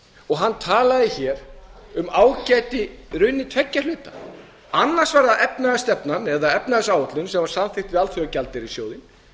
og hann talaði í raun um ágæti tveggja hluta annars vegar var það efnahagsstefnan eða efnahagsáætlun sem var samþykkt við alþjóðagjaldeyrissjóðinn